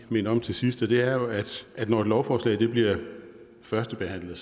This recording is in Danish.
minde om til sidst og det er at når et lovforslag bliver førstebehandlet